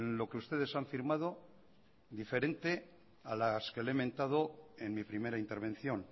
lo que ustedes han firmado diferente a las que le he mentado en mi primera intervención